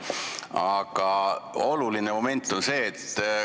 Aga on veel üks oluline moment.